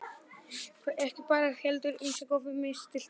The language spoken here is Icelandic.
Ekki bara fyrir mig heldur ýmsa góða menn, þú skilur.